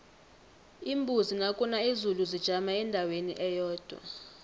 iimbuzi nakuna izulu zijama endaweni eyodwa